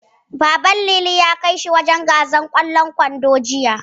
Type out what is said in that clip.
Baban Lili ya kai shi wajen gasar ƙwallon ƙwando, Jiya.